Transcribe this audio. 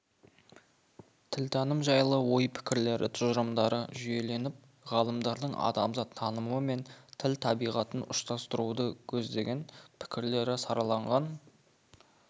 тілтаным жайлы ойпікірлері тұжырымдары жүйеленіп ғалымдардың адамзат танымы мен тіл табиғатын ұштастыруды көздеген пікірлері сараланған